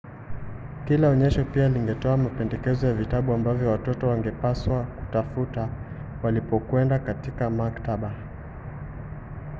kila onyesho pia lingetoa mapendekezo ya vitabu ambavyo watoto wangepaswa kutafuta walipokwenda katika maktaba